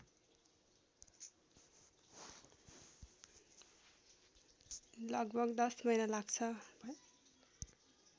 लगभग १० महिना लाग्छ